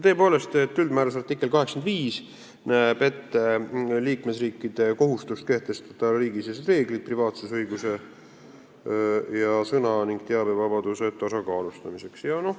Tõepoolest, üldmääruse artikkel 85 näeb ette liikmesriikide kohustuse kehtestada riigisisesed reeglid privaatsusõiguse ning sõna- ja teabevabaduse tasakaalustamiseks.